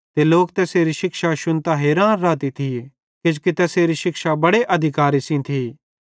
ते लोक तैसेरी शिक्षा शुन्तां हैरान रहते थिये किजोकि तैसेरी शिक्षा बड़े अधिकारे सेइं थी